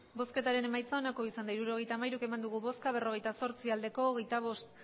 hirurogeita hamairu eman dugu bozka berrogeita zortzi bai hogeita bost